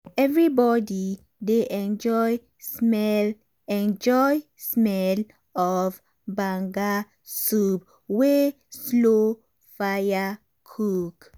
everybody dey enjoy smell enjoy smell of banga soup wey slow fire cook.